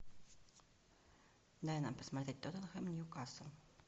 дай нам посмотреть тоттенхэм ньюкасл